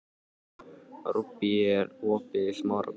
Rúbý, er opið í Smárabíói?